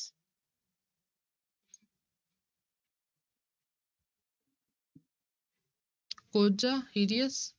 ਕੋਹਝਾ hideous